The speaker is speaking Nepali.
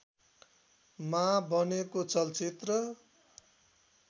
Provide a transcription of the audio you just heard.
मा बनेको चलचित्र